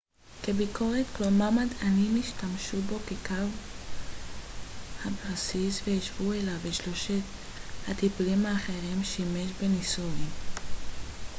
בניסוי palm שימש zmapp כביקורת כלומר מדענים השתמשו בו כקו הבסיס והשוו אליו את שלושת הטיפולים האחרים